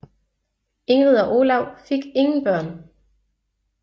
Ingrid og Olav fik ingen børn